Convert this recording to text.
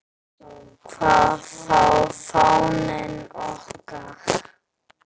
Hvað þá fáninn okkar.